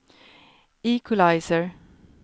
equalizer